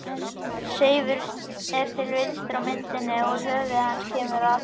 Seifur er til vinstri á myndinni og úr höfði hans kemur Aþena.